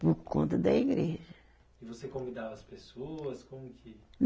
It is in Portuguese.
Por conta da igreja. E você convidava as pessoas, como que